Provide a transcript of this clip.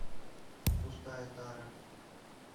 пустая тара